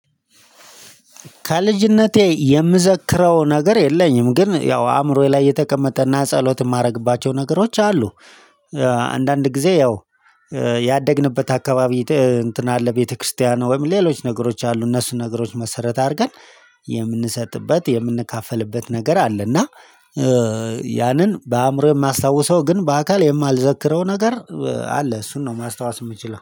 ከልጅነቴ የምዘክረው ነገር የለኝም ግን ያው አእምሮዬ ላይ የተቀመጠ እና ጸሎት የማደርግባቸው ነገሮች አሉ። አንዳንድ ጊዜ ያው ያደግንበት አካባቢ እንትን አለ ቤተክርስቲያን ወይም ሌሎች ነገሮች አሉ እነሱን ነገሮች መሰረት አድርገን የምንሰጥበት የምንካፈልበት ነገር አለ። እና ያንን በአእምሮዬ የማስታውሰው ግን በአካል የማልዘክረው ነገር አለ። እሱን ነው ማስታወስ የምትችለው